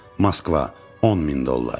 Moskva, 10000 dollar.